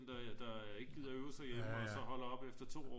der ikke gider øve sig hjemme og så holder op efter to år